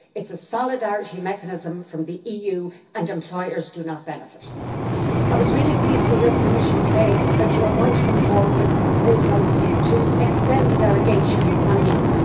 it is a solidarity mechanism from the EU and employers do not benefit. I was really pleased to hear the Commissioner say that the Commission going to come forward with a proposal to extend the derogation on NEETs.